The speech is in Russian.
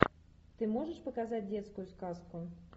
ты можешь показать детскую сказку